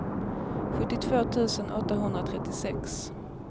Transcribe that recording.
sjuttiotvå tusen åttahundratrettiosex